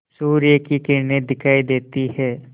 सूर्य की किरणें दिखाई देती हैं